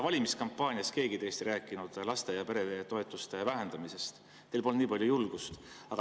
Valimiskampaanias ei rääkinud keegi teist laste‑ ja peretoetuste vähendamisest, teil polnud nii palju julgust.